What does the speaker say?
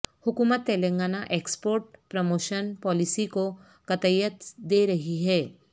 حکومت Telangana export promotion policy کو قطعیت دے رہی ہے